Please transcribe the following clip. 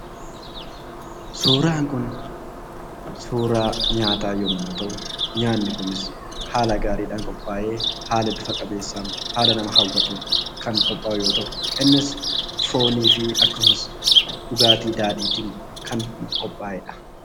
Suuraan kun Suuraa nyaataa yommuu ta'u nyaanni Kunis haala gaariidhaan qophaa'ee haala bifa qabeessan haala nama hawwatuun kan qophaa'u yoo ta'u innis fooniifi akkasumas dhugaatii daadhiitiin kan qophaa'edha.